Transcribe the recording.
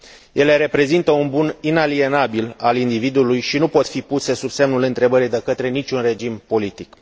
Ele reprezintă un bun inalienabil al individului și nu pot fi puse sub semnul întrebării de către niciun regim politic.